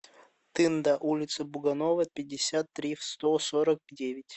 тында улица буганова пятьдесят три в сто сорок девять